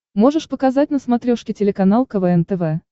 можешь показать на смотрешке телеканал квн тв